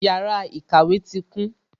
Yàrá ìkàwé tí kún